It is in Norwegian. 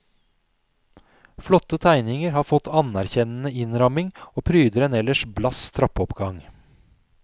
Flotte tegninger har fått anerkjennende innramming og pryder en ellers blass trappeoppgang.